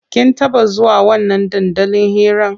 Kin taɓa zuwa wannan dandalin hiran?